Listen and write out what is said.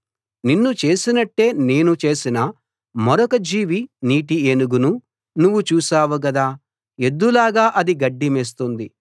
నిన్ను చేసినట్టే నేను చేసిన మరొక జీవి నీటి ఏనుగును నువ్వు చూశావు గదా ఎద్దులాగా అది గడ్డి మేస్తుంది